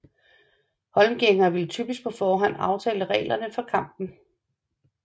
Holmgængere ville typisk på forhånd aftale reglerne for kampen